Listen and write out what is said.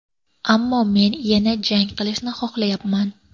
Ammo men yana jang qilishni xohlayapman.